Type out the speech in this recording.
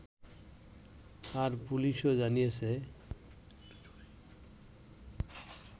আর পুলিশও জানিয়েছে